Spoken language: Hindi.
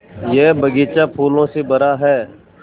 यह बग़ीचा फूलों से भरा है